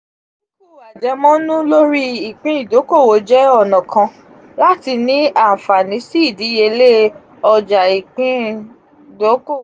adinku ajemonu lori ipin idokowo je ona kan lati ni anfani si idiyele oja iipin dokowo